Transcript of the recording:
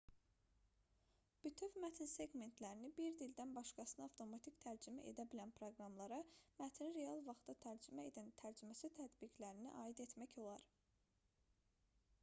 bütöv mətn seqmentlərini bir dildən başqasına avtomatik tərcümə edə bilən proqramlara mətni real vaxtda tərcümə edən tərcüməçi tətbiqlərini aid etmək olar